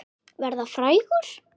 Verða frægur?